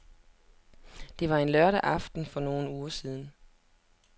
Det var en lørdag aften for nogle uger siden.